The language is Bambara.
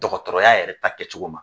Dɔgɔtɔrɔya yɛrɛ ta kɛcogo ma.